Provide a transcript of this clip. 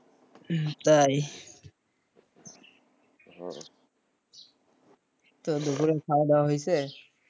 হম তাই তো দুপুরের খাওয়া দাওয়া হইছে,